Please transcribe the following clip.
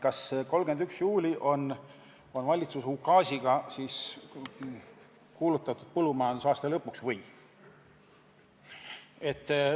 Kas 31. juuli on valitsuse ukaasiga kuulutatud põllumajandusaasta lõpuks?